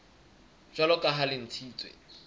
jwalo ka ha le ntshitswe